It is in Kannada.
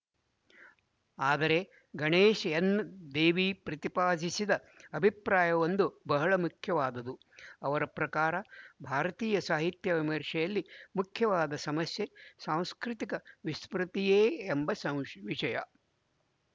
ಆದರೆ ಗಣೇಶ ಎನ್ ದೇವಿ ಪ್ರತಿಪಾದಿಸಿದ ಅಭಿಪ್ರಾಯವೊಂದು ಬಹಳ ಮುಖ್ಯವಾದುದು ಅವರ ಪ್ರಕಾರ ಭಾರತೀಯಸಾಹಿತ್ಯ ವಿಮರ್ಷೆಯಲ್ಲಿ ಮುಖ್ಯವಾದ ಸಮಸ್ಯೆ ಸಾಂಸ್ಕೃತಿಕ ವಿಸ್ಮೃತಿಯೇ ಎಂಬ ಸಂ ವಿಶಯ